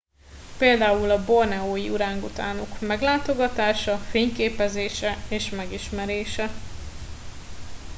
például a borneói orángutánok meglátogatása fényképezése és megismerése